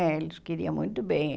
né? Eles queriam muito bem.